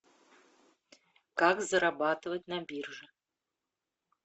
как зарабатывать на бирже